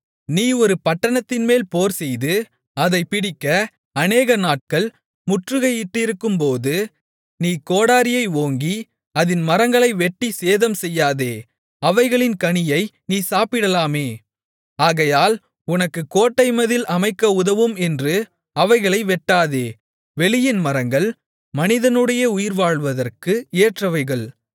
நீ ஒரு பட்டணத்தின்மேல் போர்செய்து அதைப் பிடிக்க அநேகநாட்கள் முற்றுகையிட்டிருக்கும்போது நீ கோடரியை ஓங்கி அதின் மரங்களை வெட்டிச் சேதம் செய்யாதே அவைகளின் கனியை நீ சாப்பிடலாமே ஆகையால் உனக்குக் கோட்டைமதில் அமைக்க உதவும் என்று அவைகளை வெட்டாதே வெளியின் மரங்கள் மனிதனுடைய உயிர்வாழ்வதற்கு ஏற்றவைகள்